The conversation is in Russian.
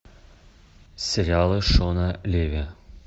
сериалы шона леви